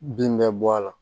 Bin bɛ bɔ a la